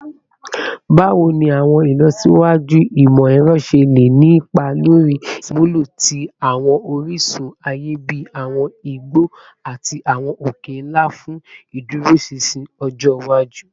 Bawo ni awọn ilọsiwaju imọ-ẹrọ ṣe le ni ipa lori iṣamulo ti awọn orisun aye bi awọn igbo ati awọn oke-nla fun iduroṣinṣin ọjọ iwaju?